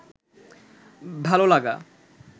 ভাল লাগা